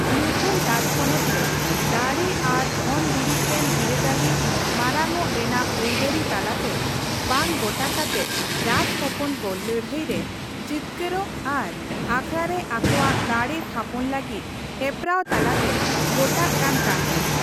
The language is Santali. ᱢᱩᱜᱷᱚᱞ ᱨᱟᱡᱽᱯᱚᱱᱚᱛ ᱨᱮ ᱫᱟᱲᱮ ᱟᱨ ᱫᱷᱚᱱ ᱫᱩᱨᱤᱵᱽ ᱨᱮᱱ ᱵᱤᱨᱟᱹᱫᱟᱹᱞᱤ ᱢᱟᱨᱟᱝᱚᱜ ᱨᱮᱱᱟᱜ ᱟᱹᱭᱫᱟᱹᱨᱤ ᱛᱟᱞᱟᱛᱮ ᱵᱟᱝ ᱜᱚᱴᱟ ᱠᱟᱛᱮᱫ ᱨᱟᱡᱽᱦᱚᱯᱚᱱ ᱠᱚ ᱞᱟᱹᱲᱦᱟᱹᱭ ᱨᱮ ᱡᱤᱛᱠᱟᱹᱨᱚᱜ ᱟᱨ ᱚᱠᱷᱲᱟ ᱨᱮ ᱟᱠᱚᱣᱟᱜ ᱫᱟᱲᱮ ᱛᱷᱟᱯᱚᱱ ᱞᱟᱹᱜᱤᱫ ᱦᱮᱯᱨᱟᱣ ᱛᱟᱞᱟᱛᱮ ᱜᱚᱴᱟᱜ ᱠᱟᱱ ᱛᱟᱦᱮᱱ ᱾